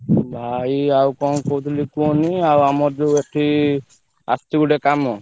ଭାଇ ଆଉ କଣ କହୁଥିଲି କୁହନି ଆଉ ଆମର ଯୋଉ ଏଠି ଆସିଛି ଗୋଟେ କାମ।